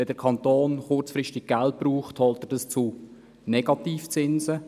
Wenn der Kanton kurzfristig Geld braucht, holt er sich dieses zu Negativzinsen.